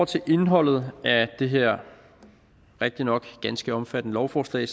til indholdet af det her rigtignok ganske omfattende lovforslag